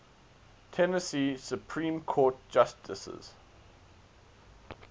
tennessee supreme court justices